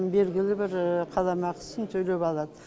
белгілі бір қаламақысын төлеп алады